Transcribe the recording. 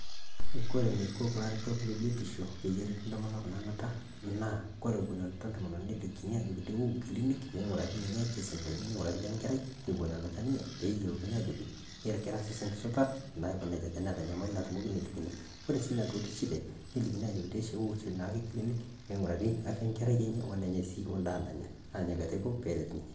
Kore eniko kulo aretok lebiotisho peyie eretu intomonok naanuta naa kore kenuta entomononi nelikini aajoki wou kilinik, neing'urari ninye osesen lenye leing'urari ole Nkerai Eton enuta ninye pee eyiolouni aajo Kera osesen supat tenaa kenejia, teneeta enyamali natupukuo nelikini. Kore sii sinche entomononi nelikini aajoki peelotu kilinik natiii afia Enkerai enye, wenenye.